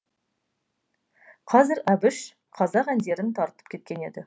қазір әбіш қазақ әндерін тартып кеткен еді